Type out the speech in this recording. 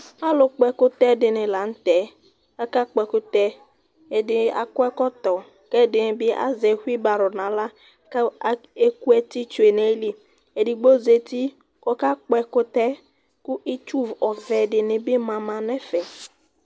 ɑlụkpo ɛkụtɛɗiɗini lɑɲutɛ ɑƙɑkpọ ɛkụtɛ ɛɗạkọ ɛkọtó kɛɗibi ɑzɛsibɑrọ ɲqɑhlɑ ku ɛkụɛɗụṅɑyiliɛɗigbo zɑti kɔkɑkpo ɛkụtɛ ku itsu ɛ ɗinimɑmɑɲɛ fɛ